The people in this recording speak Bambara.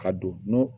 Ka don